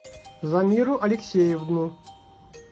замиру алексеевну